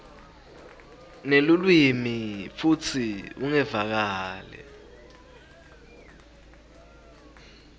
nelulwimi futsi ungevakali